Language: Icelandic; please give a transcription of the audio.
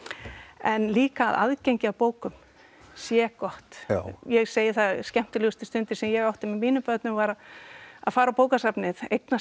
en líka að aðgengi að bókum sé gott já ég segi það að skemmtilegustu stundir sem ég átti með mínum börnum var að fara á bókasafnið eignast